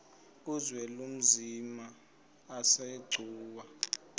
uzwelinzima asegcuwa ke